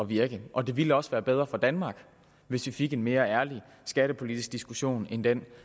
virke og det ville også være bedre for danmark hvis vi fik en mere ærlig skattepolitisk diskussion end den